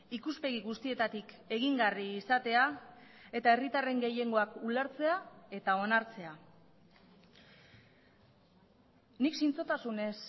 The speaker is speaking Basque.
ikuspegi guztietatik egingarri izatea eta herritarren gehiengoak ulertzea eta onartzea nik zintzotasunez